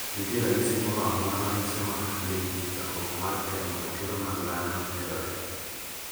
nitie ranyisi moro amora manyisowa ni chandruok mar kemo ratiro mag dhano medore,"